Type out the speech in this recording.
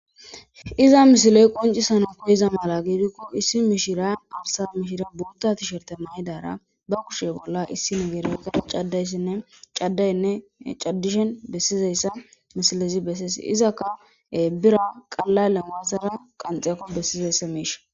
Iza misiley qoncisana po iza mala giidikko issi mishira arsa mishira buuttatisherte mahedara ba kushe bolla issi nigeerieka caddayssinne caddaynne caddishen bessizayssa misilezi bessees izakka bira qalla lemasara qanxeyekko bessizayssa miisha.